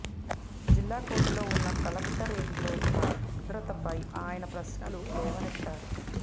జిల్లా కోర్టులు ఉన్న కలెక్టరేట్లో భద్రతపై ఆయన ప్రశ్నలు లేవనెత్తారు